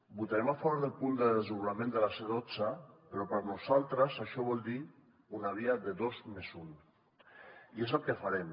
votarem a favor del punt del desdoblament de la c dotze però per nosaltres això vol dir una via de dos més un i és el que farem